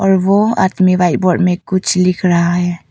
और वो आदमी व्हाइट बोर्ड में कुछ लिख रहा है।